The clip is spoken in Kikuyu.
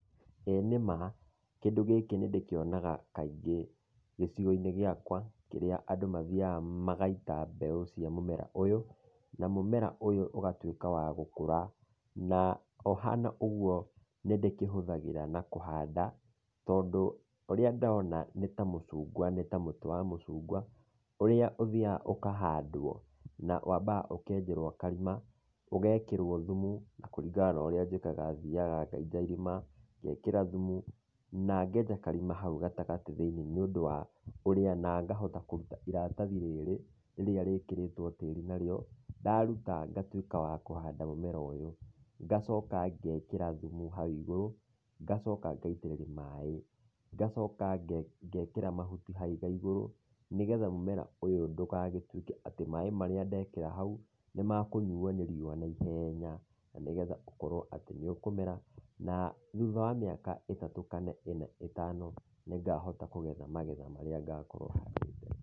Ĩĩ nĩma, kĩndũ gĩkĩ nĩndĩkionaga kaingĩ gĩcigo-inĩ giakwa, kĩrĩa andũ mathiaga magaita mbegũ cia mũmera ũyũ, na mũmera ũyu ũgatuĩka wa gũkũra, na ũhana ũguo, nĩndĩkĩhũthagĩra na kũhanda, tondũ, ũrĩa ndona nĩta mũcungwa, nĩ ta mũtĩ wa mũcungwa, ũrĩa ũthiaga ũkahandwo, na wambaga ũkenjerwo karima, ũgekĩrwo thumu na kũringana na ũrĩa njĩkaga thiaga ngenja irima, ngekĩra thumu, na ngenja karima hau gatagatĩ thĩiniĩ nĩũndũ wa ũrĩa, na ngahota kũruta iratathi rĩrĩ, rĩrĩa rĩkĩrĩtwo tĩri narĩo, ndaruta ngatuĩka wa kũhanda, mũmera ũyũ, ngacoka ngekĩra thumu hau igũrũ, ngacoka ngaitĩrĩria maĩ. Ngacoka ngekĩra mahuti hau igaigũrũ, nĩgetha mũmera ũyũ ndũgagĩtuĩke atĩ maĩ marĩa ndekĩra hau, nĩmakũnyuo nĩ riũa naiheenya, na nĩgetha kũkorwo atĩ nĩũkũmera, na thutha wa mĩaka ĩtatũ kana ĩna ĩtano, nĩngahota kũgetha magetha marĩa ngakorwo handĩte.